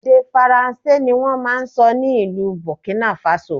Èdè Faransé ni wọ́n máa ń sọ ní ìlú Burkina Faso